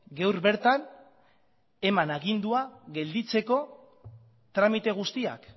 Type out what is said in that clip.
gaur bertan eman agindua gelditzeko tramite guztiak